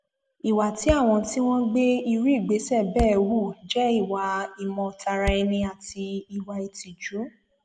ìwà tí àwọn tí wọn gbé irú ìgbésẹ bẹẹ hù jẹ ìwà ìmọtaraẹni àti ìwà ìtìjú